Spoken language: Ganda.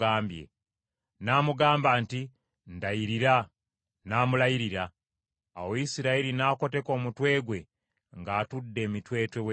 N’amugamba nti, “Ndayirira.” N’amulayirira. Awo Isirayiri n’akoteka omutwe gwe ng’atudde emitwetwe w’ekitanda kye.